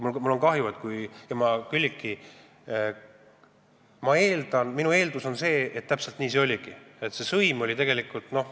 Mul on kahju, Külliki, ja minu eeldus on see, et täpselt nii oligi, see sõim oligi.